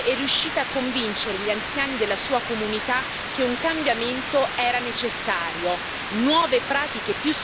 Con queste conoscenze è riuscita a convincere gli anziani della sua comunità che un cambiamento era necessario.